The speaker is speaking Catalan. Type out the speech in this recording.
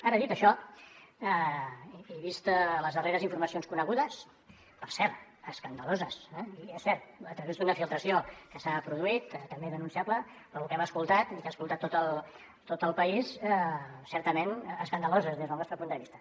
ara dit això i vistes les darreres informacions conegudes per cert escandaloses eh i és cert a través d’una filtració que s’ha produït també denunciable però lo que hem escoltat i que ha escoltat tot el país certament escandalós des del nostre punt de vista